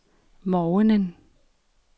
morgenen